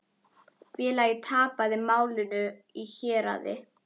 Félagið tapaði málinu í héraði.